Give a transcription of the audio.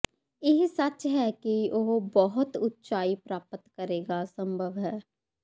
ਇਹ ਸੱਚ ਹੈ ਕਿ ਉਹ ਬਹੁਤ ਉਚਾਈ ਪ੍ਰਾਪਤ ਕਰੇਗਾ ਸੰਭਵ ਹੈ